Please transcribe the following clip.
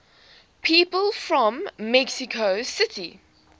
people from mexico city